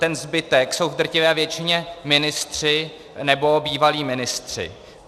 Ten zbytek jsou v drtivé většině ministři nebo bývalí ministři.